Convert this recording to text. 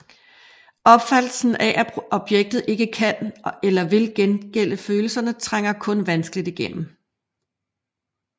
Opfattelsen af at objektet ikke kan eller vil gengælde følelserne trænger kun vanskeligt igennem